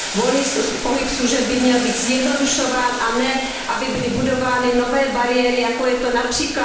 Volný pohyb služeb by měl být zjednodušován a ne, aby byly budovány nové bariéry, jako je to např.